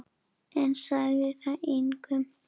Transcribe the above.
En sagði það engum.